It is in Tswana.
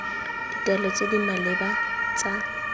ditaelo tse di maleba tsa